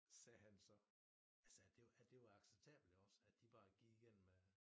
Sagde han så altså det at det var acceptabelt iggås at de bare gik igennem øh